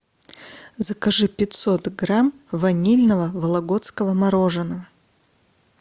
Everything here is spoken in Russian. закажи пятьсот грамм ванильного вологодского мороженого